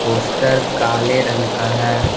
Poster काले रंग का है।